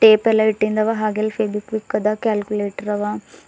ಇವ ಹಾಗಿಲ್ ಫೆವಿಕಿಕ ಅದ ಕ್ಯಾಲ್ಕುಲೆಟರ್ ಅವ.